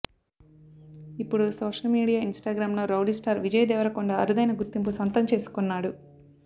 ఇప్పుడు social media Instagram లో rowdy star Vijay Deverakonda అరుదైన గుర్తింపు సొంతం చేసుకున్నాడు